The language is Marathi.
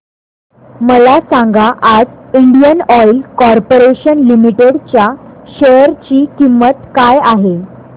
मला सांगा आज इंडियन ऑइल कॉर्पोरेशन लिमिटेड च्या शेअर ची किंमत काय आहे